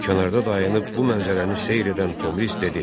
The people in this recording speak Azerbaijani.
Kənarda dayanıb bu mənzərəni seyr edən Tomris dedi: